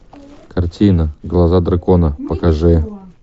картина глаза дракона покажи